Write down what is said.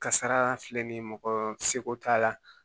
Kasara filɛ nin ye mɔgɔ seko t'a la